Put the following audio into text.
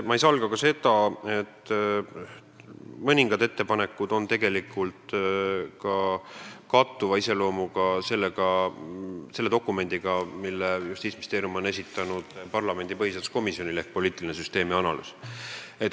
Ma ei salga ka seda, et mõningad neist ettepanekutest tegelikult kattuvad sellega, mis on kirjas poliitilise süsteemi analüüsi dokumendis, mille Justiitsministeerium on esitanud parlamendi põhiseaduskomisjonile.